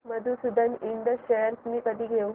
मधुसूदन इंड शेअर्स मी कधी घेऊ